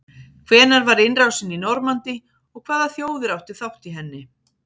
hvenær var innrásin í normandí og hvaða þjóðir áttu þátt í henni